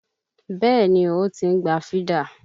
Bẹ́ẹ̀ni o, ó ti ń gba fídà.